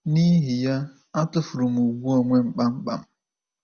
N’ihi ya, atụfuru m ùgwù onwe m kpamkpam.